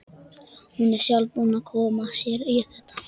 Hún er sjálf búin að koma sér í þetta.